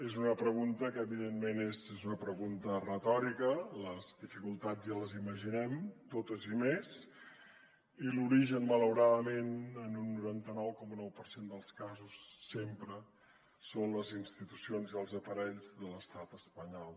és una pregunta que evidentment és una pregunta retòrica les dificultats ja les imaginem totes i més i l’origen malauradament en un noranta nou coma nou per cent dels casos sempre són les institucions i els aparells de l’estat espanyol